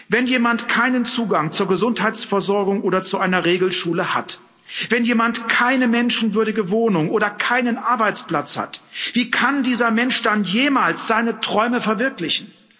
Wenn jemand keinen Zugang zur Gesundheitsversorgung oder zu einer Regelschule hat, wenn jemand keine menschenwürdige Wohnung oder keinen Arbeitsplatz hat, wie kann dieser Mensch dann jemals seine Träume verwirklichen?